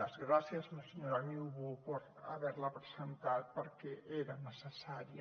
les gràcies a la senyora niubó per haver la presentat perquè era necessària